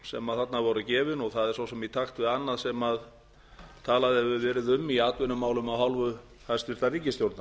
sem þarna voru gefin og það er svo sem í takt við annað sem talað hefur verið um í atvinnumálum af hálfu hæstvirtrar ríkisstjórnar